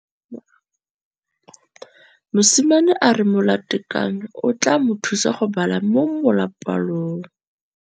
Mosimane a re molatekanyô o tla mo thusa go bala mo molapalong.